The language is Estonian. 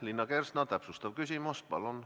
Liina Kersna, täpsustav küsimus palun!